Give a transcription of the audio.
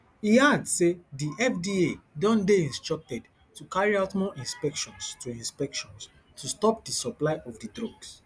e add say di fda don dey instructed to carry out more inspections to inspections to stop di supply of di drugs